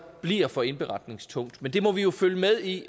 bliver for indberetningstungt men det må vi jo følge med i